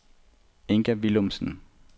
Inga Villumsen